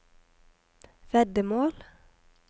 veddemål